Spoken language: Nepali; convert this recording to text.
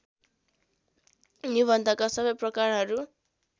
निबन्धका सबै प्रकारहरू